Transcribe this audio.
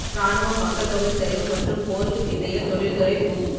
ராணுவம் மக்கள் தொகை சரிவு மற்றும் போருக்குப் பிந்தைய தொழில்துறை பூம்